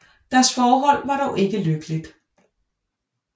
Deres forhold var dog ikke lykkeligt